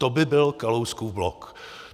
To by byl Kalouskův blok.